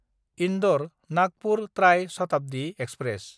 इन्दर–नागपुर ट्राय शताब्दि एक्सप्रेस